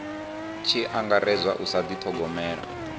tshi angaredzwa u sa dithogomela